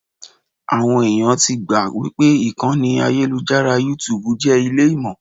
Àwọn ẹ̀yàn ti gbà wípé ìkànnì ayélujára YouTube jẹ́ ilé Ìmọ̀.